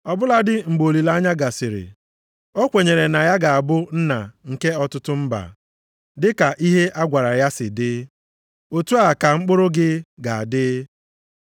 Ọ bụladị mgbe olileanya gasịrị, o kwenyere na ya ga-abụ nna nke ọtụtụ mba, dịka ihe a gwara ya si dị, “Otu a ka mkpụrụ gị ga-adị. + 4:18 A gaghị agụta ha ọnụ.” + 4:18 \+xt Jen 15:5\+xt*